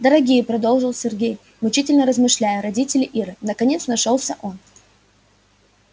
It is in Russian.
дорогие продолжил сергей мучительно размышляя родители иры наконец нашёлся он